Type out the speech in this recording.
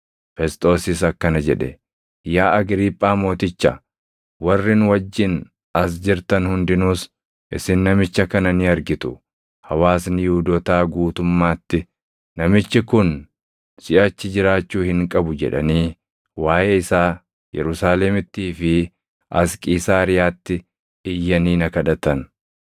Fesxoosis akkana jedhe; “Yaa Agriiphaa mooticha, warri nu wajjin as jirtan hundinuus isin namicha kana ni argitu! Hawaasni Yihuudootaa guutummaatti, ‘Namichi kun siʼachi jiraachuu hin qabu’ jedhanii waaʼee isaa Yerusaalemittii fi as Qiisaariyaatti iyyanii na kadhatan.